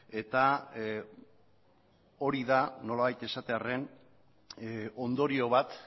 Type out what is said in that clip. eta hori da nolabait esatearren ondorio bat